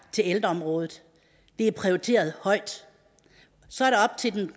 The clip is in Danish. til ældreområdet det er prioriteret højt og så er det op til